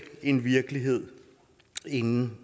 en virkelighed inden